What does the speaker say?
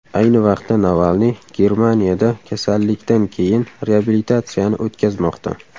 Ayni vaqtda Navalniy Germaniyada kasallikdan keyin reabilitatsiyani o‘tkazmoqda .